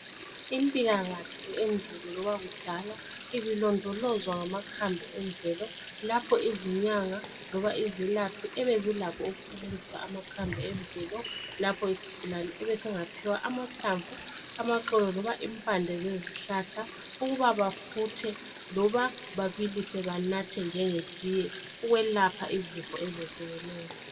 Impilakahle endulo loba kudala ibilondolozwa ngamakhambi emvelo lapho izinyanga loba izelaphi ebezilakho ukusebenzisa amakhambi emvelo lapho isigulane ebesingaphiwa amahlamvu, amaxolo loba impande zezihlahla ukuba bafuthe loba babilise banathe njengetiye ukwelapha izifo ezehlukeneyo.